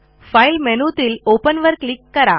file मेनूतील open वर click करा